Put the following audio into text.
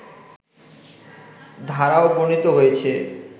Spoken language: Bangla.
ধারাও বর্ণিত হয়েছে